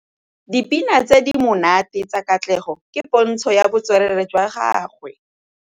Dipina tse di monate tsa Katlego ke pôntshô ya botswerere jwa gagwe.